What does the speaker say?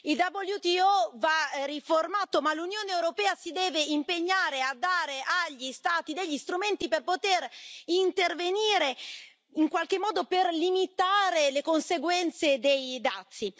Il WTO va riformato ma l'Unione europea si deve impegnare a dare agli Stati degli strumenti per poter intervenire e in qualche modo limitare le conseguenze dei dazi.